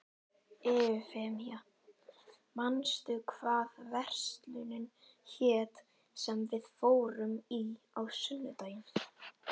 Eufemía, manstu hvað verslunin hét sem við fórum í á sunnudaginn?